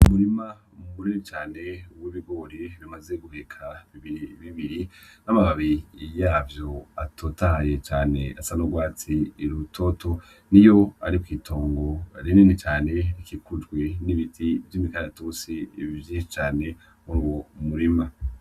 Umurima munini cane w'ibigori bimaze guheka bibiri bibiri n'amababi yavyo atotahaye cane asa n'urwatsi rutoto niyo ari kw'itongo rinini cane rikikujwe n'ibiti vy'imikaratusi vyinshi cane muri uyo murima.